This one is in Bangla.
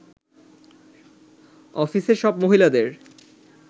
অফিসের সব মহিলাদের